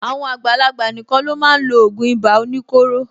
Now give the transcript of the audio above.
Àwọn àgbàlagbà nìkan ló máa n lo ògùn ibà oníkóro.